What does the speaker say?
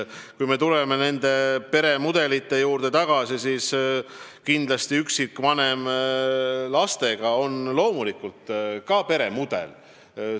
Kui me tuleme tagasi peremudelite juurde, siis kindlasti üksikvanem lastega on loomulikult ka peremudel.